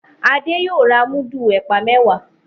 Ade yóò rà mudu ẹpa mẹwa